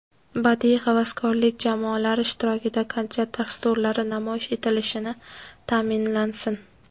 badiiy havaskorlik jamoalari ishtirokida konsert dasturlari namoyish etilishini ta’minlasin;.